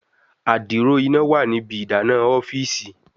adiro ina wa ni ibi idana ọfiisi